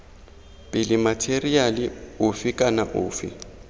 pele matheriale ofe kana ofe